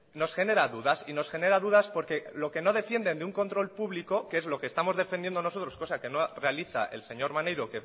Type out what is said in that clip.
nos genera dudas y nos genera dudas porque lo que no defienden de un control público que es lo que estamos defendiendo nosotros cosa que no realiza el señor maneiro